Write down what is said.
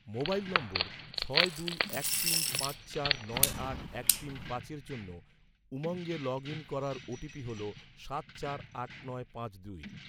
mobile নম্বর, ছয় দুই এক তিন পাঁচ চার নয় আট এক তিন পাঁচের জন্য, উমঙ্গে লগ ইন করার ওটিপি হল, সাত চার আট নয় পাঁচ দুই